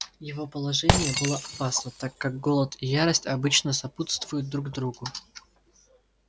его положение было опасно так как голод и ярость обычно сопутствуют друг другу